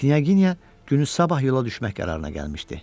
Knyaginya günüsabah yola düşmək qərarına gəlmişdi.